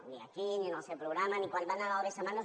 no ni aquí ni en el seu programa ni quan va anar al besamanos